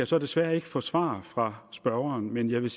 så desværre ikke få svar fra spørgeren men jeg vil